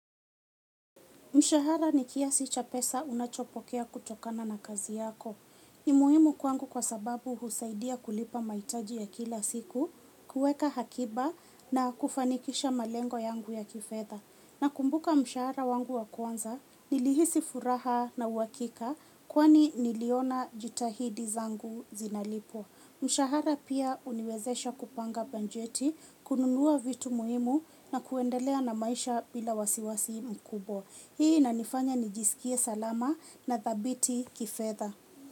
Mshahara ni kiasi cha pesa unachopokea kutokana na kazi yako. Ni muhimu kwangu kwa sababu husaidia kulipa mahitaji ya kila siku, kuweka akiba na kufanikisha malengo yangu ya kifedha. Nakumbuka mshahara wangu wa kwanza, nilihisi furaha na uhakika kwani niliona jitihada zangu zinalipwa. Mshahara pia huniwezesha kupanga bajeti, kununua vitu muhimu na kuendelea na maisha bila wasiwasi mkubwa. Hii inanifanya nijisikie salama na thabiti kifedha.